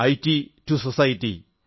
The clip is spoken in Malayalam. IT to society